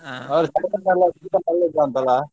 ಅಲಾ.